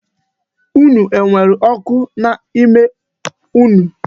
Unu nwere oku n'ama unu?